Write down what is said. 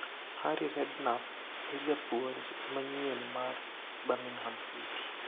Harry Redknapp e japuonj manyien mar Birmingham City